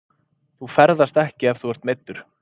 Þú ferðast ekki ef þú ert meiddur.